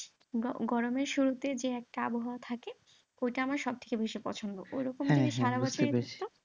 গরমের শুরুতে যে একটা আবহাওয়া থাকে ওটা আমার সবথেকে বেশি পছন্দ ওরকম যদি সারাবছরই থাকতো।